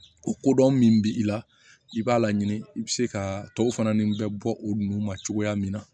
O kodɔn min bi i la i b'a laɲini i bi se ka tɔw fana ni bɛ bɔ o nu ma cogoya min na